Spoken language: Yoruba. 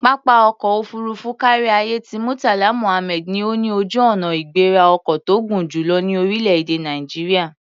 Pápá ọkọ̀ òfuurufú káríayé ti Murtala Muhammed ni ó ní ojú-ọnà-ìgbéra-ọkọ̀ tó gùn jù lọ ní orílẹ̀-èdè Nàìjíríà.